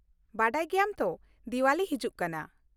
ᱵᱟᱰᱟᱭ ᱜᱮᱭᱟᱢ ᱛᱚ, ᱫᱤᱣᱟᱞᱤ ᱦᱤᱡᱩᱜ ᱠᱟᱱᱟ ᱾